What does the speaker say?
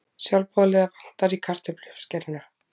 Sjálfboðaliða vantar í kartöfluuppskeruna